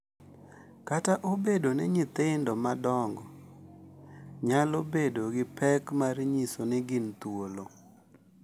Kata obedo ni nyithindo madongo nyalo bedo gi pek mar nyiso ni gin thuolo.